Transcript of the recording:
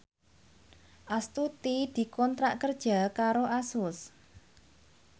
Astuti dikontrak kerja karo Asus